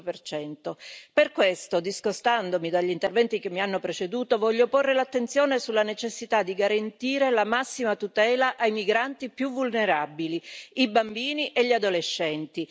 25 Per questo, discostandomi dagli interventi che mi hanno preceduto, voglio porre l'attenzione sulla necessità di garantire la massima tutela ai migranti più vulnerabili i bambini e gli adolescenti